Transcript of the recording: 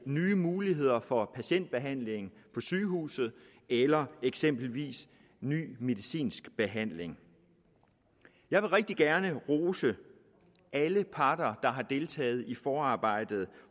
nye muligheder for patientbehandling på sygehuset eller eksempelvis ny medicinsk behandling jeg vil rigtig gerne rose alle parter der har deltaget i forarbejdet